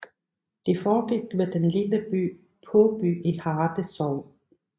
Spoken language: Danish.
Det foregik ved den lille by Påby i Harte Sogn